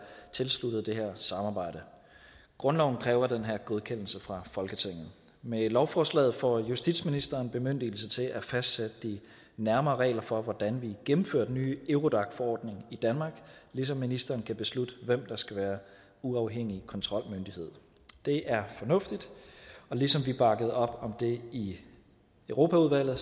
tilsluttet det her samarbejde grundloven kræver den her godkendelse fra folketinget med lovforslaget får justitsministeren bemyndigelse til at fastsætte de nærmere regler for hvordan vi gennemfører den nye eurodac forordning i danmark ligesom ministeren kan beslutte hvem der skal være uafhængig kontrolmyndighed det er fornuftigt og ligesom vi bakkede op om det i europaudvalget